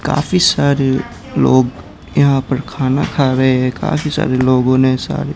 काफी सारे लोग यहां पर खाना खा रहे है काफी सारे लोगों ने सारे--